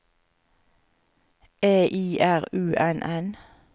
E I R U N N